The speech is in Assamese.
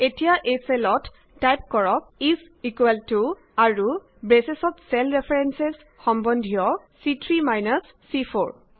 এতিয়া এই চেলত টাইপ কৰক ইজ ইকুৱেল টু আৰু ব্ৰেচ ত চেল ৰেফাৰেন্স সম্বন্ধিত চি3 মাইনাছ চি4